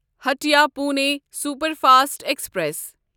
Hatia Pune superfast express